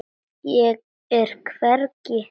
Ég er hvergi.